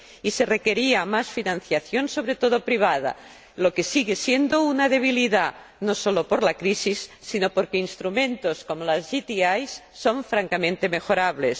Y se requería más financiación, sobre todo privada, lo que sigue siendo una debilidad, no solo por la crisis, sino porque instrumentos como las JTI son francamente mejorables.